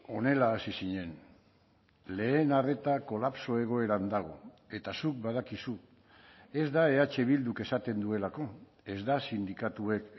honela hasi zinen lehen arreta kolapso egoeran dago eta zuk badakizu ez da eh bilduk esaten duelako ez da sindikatuek